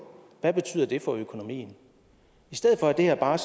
hvad betyder det for økonomien i stedet for er det her bare